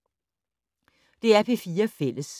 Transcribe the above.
DR P4 Fælles